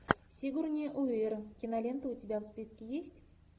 сигурни уивер кинолента у тебя в списке есть